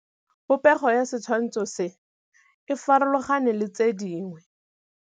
Popêgo ya setshwantshô se, e farologane le tse dingwe.